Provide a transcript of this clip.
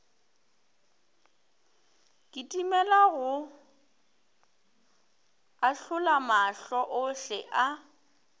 kitimela go ahlolamahlo ohle a